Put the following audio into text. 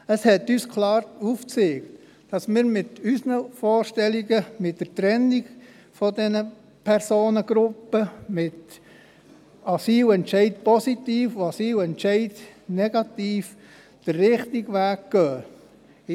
Das hat uns klar aufgezeigt, dass wir mit unseren Vorstellungen der Trennung dieser Personengruppen, mit Asylentscheid positiv und Asylentscheid negativ, den richtigen Weg einschlagen.